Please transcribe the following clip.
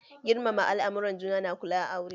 Girmama al'amuran juna na ƙula aure